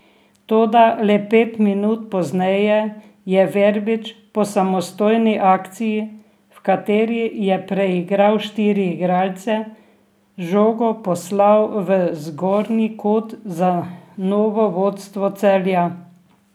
Toda le pet minut pozneje je Verbič po samostojni akciji, v kateri je preigral štiri igralce, žogo poslal v zgornji kot za novo vodstvo Celja.